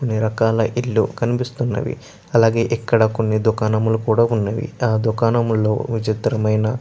అని రకాల ఇల్లు కనిపిస్తున్నవి అలాగే ఇక్కడ కొన్ని దుకాణములు కూడా ఉన్నవి ఆ దుకాణముల్లో విచిత్రమైన --